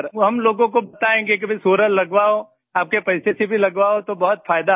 वो हम सब लोगों को बताएँगे सर कि भई सोलर लगवाओ आपके पैसे से भी लगवाओ तो बहुत फायदा है